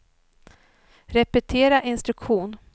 repetera instruktion